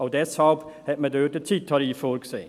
Auch deshalb hat man dort den Zeittarif vorgesehen.